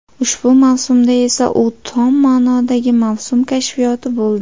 Ushbu mavsumda esa u tom ma’nodagi mavsum kashfiyoti bo‘ldi.